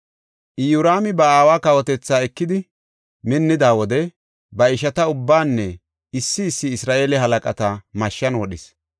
Iyoraami ba aawa kawotetha ekidi minnida wode ba ishata ubbaanne issi issi Isra7eele halaqata mashshan wodhis.